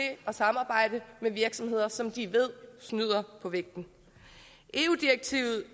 at samarbejde med virksomheder som de ved snyder på vægten eu direktivet